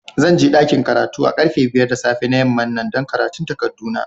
Zan je dakin karatu a karfe biyar da safe na yaman nan dan karatun takadu na.